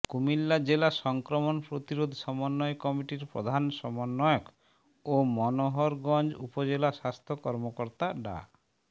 কুমিল্লা জেলা সংক্রমণ প্রতিরোধ সমন্বয় কমিটির প্রধান সমন্বয়ক ও মনোহরগঞ্জ উপজেলা স্বাস্থ্য কর্মকর্তা ডা